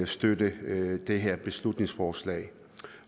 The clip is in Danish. støtte det her beslutningsforslag